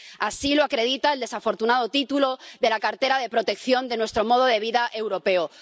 Así lo acredita el desafortunado título de la cartera de Protección de Nuestro Modo de Vida Europeo.